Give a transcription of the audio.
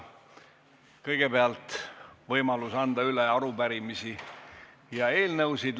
Kõigepealt on võimalik üle anda arupärimisi ja eelnõusid.